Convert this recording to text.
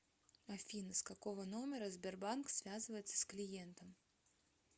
афина с какого номера сбербанк связывается с клиентом